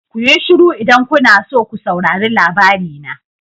Kuyi shiru idan kuna so ko saurari labari na.